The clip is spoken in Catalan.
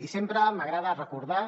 i sempre m’agrada recordar